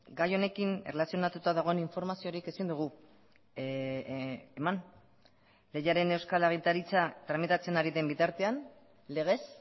gai honekin erlazionatuta dagoen informaziorik ezin dugu eman lehiaren euskal agintaritza tramitatzen ari den bitartean legez